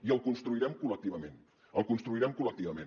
i el construirem col·lectivament el construirem col·lectivament